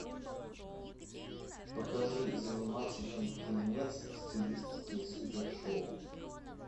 покажи занимательный фильмец в стилистике супер шоу